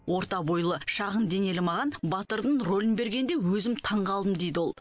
орта бойлы шағын денелі маған батырдың рөлін бергенде өзім таңғалдым дейді ол